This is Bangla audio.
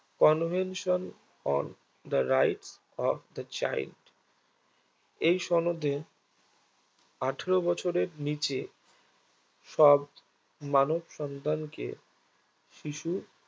convention on the right of the child এই সনদে আঠেরো বছরের নিচে সব মানুষ সন্তানকে শিশু